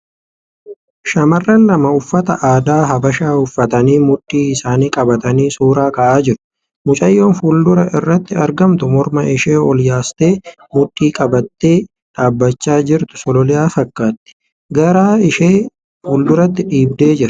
Shamarran lama uffata aadaa habashaa uffatanii mudhii isaanii qabatanii suura ka'aa jiru . Mucayyoon fuuldura irratti argamtu morma ishee ol yaastee mudhii qabattee dhaabbachaa jirtu sololiyaa fakkaatti. Garaa ishee fuulduratti dhiibdee jirti.